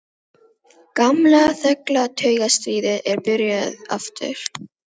Gamla, þögla taugastríðið er byrjað aftur.